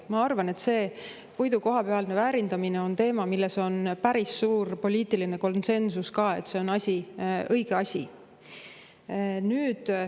Ma arvan, et puidu kohapealne väärindamine on teema, mille puhul on päris suur poliitiline konsensus, et see on õige asi.